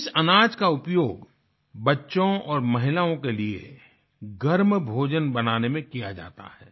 इस अनाज का उपयोग बच्चों और महिलाओं के लिए गर्म भोजन बनाने में किया जाता है